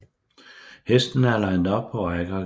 Hestene er linet op på række og geled